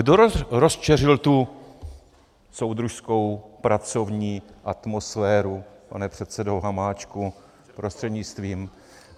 Kdo rozčeřil tu soudružskou pracovní atmosféru, pane předsedo Hamáčku prostřednictvím?